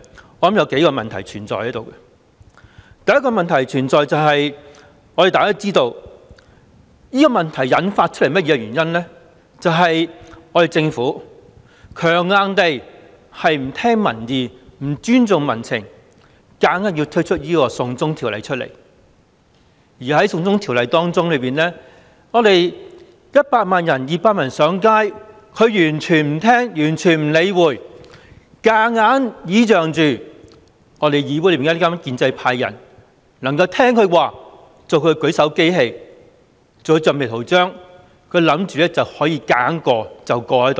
我認為有數個問題存在：第一個問題就是，大家都知道，引發出這個問題的原因，就是政府不聽民意、不尊重民情，硬推"送中條例"，而針對"送中條例 "，100 萬人、200萬人上街，它完全漠視，強硬倚仗議會內的建制派議員能夠聽從它，做它的舉手機器、橡皮圖章，以為可以強硬通過，